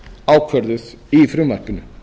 ákvörðuð í frumvarpinu